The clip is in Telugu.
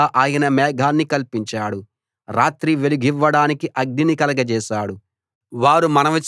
వారికి నీడగా ఆయన మేఘాన్ని కల్పించాడు రాత్రి వెలుగివ్వడానికి అగ్నిని కలగజేశాడు